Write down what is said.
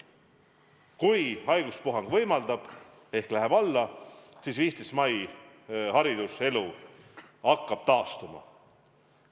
Kui haiguspuhang võimaldab ehk leeveneb, siis 15. mail hariduselu hakkab taastuma.